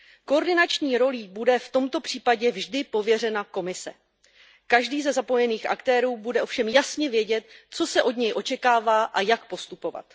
Koordinační rolí bude v tomto případě vždy pověřena Komise, každý ze zapojených aktérů bude ovšem jasně vědět, co se od něj očekává a jak postupovat.